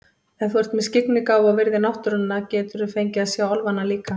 Ef þú ert með skyggnigáfu og virðir náttúruna geturðu fengið að sjá álfana líka.